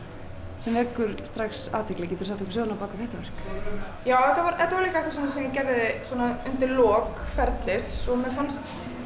sem vekur strax athygli geturðu sagt okkur söguna á bak við þetta verk já þetta var þetta var líka eitthvað svona sem ég gerði undir lok ferlis og mér fannst